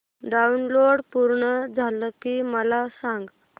download पूर्ण झालं की मला सांग